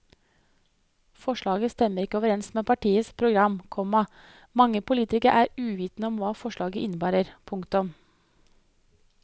Forslaget stemmer ikke overens med partienes program, komma mange politikere er uvitende om hva forslaget innebærer. punktum